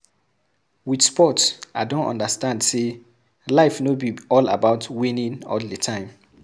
With sport I don understand sey life no be all about winning all the time